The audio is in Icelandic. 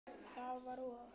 Það var og!